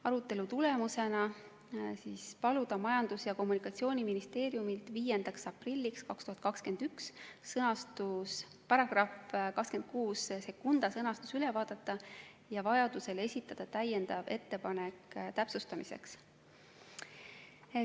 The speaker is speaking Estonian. Arutelu tulemusena paluti Majandus- ja Kommunikatsiooniministeeriumil 5. aprilliks 2021 § 262 sõnastus üle vaadata ja vajadusel esitada täiendav ettepanek täpsustamiseks.